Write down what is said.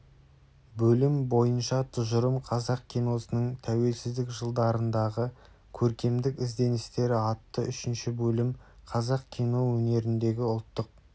бөлім бойынша тұжырым қазақ киносының тәуелсіздік жылдарындағы көркемдік ізденістері атты үшінші бөлім қазақ кино өнеріндегі ұлттық